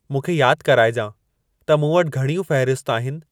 मूंखे यादि कराइजां त मूं वटि घणियूं फ़हिरिस्त आहिनि